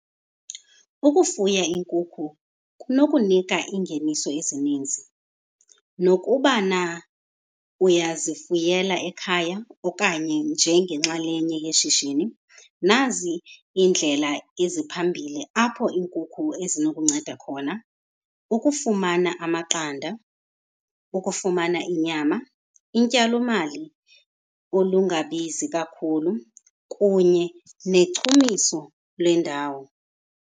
Ukufuya iinkukhu kunokunika iingeniso ezininzi nokubana uyazifuyela ekhaya okanye njengenxalenye yeshishini. Nazi iindlela eziphambili apho iinkukhu ezinokunceda khona. Ukufumana amaqanda, ukufumana inyama, intyalomali olungabizi kakhulu kunye nechumiso lwendawo.